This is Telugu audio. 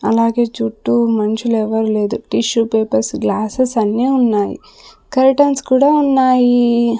అలాగే చుట్టూ మనుషులు ఎవరు లేరు టిష్యూ పేపర్స్ గ్లాస్సెస్ అన్నీ ఉన్నాయి కర్టెన్స్ కూడా ఉన్నాయి.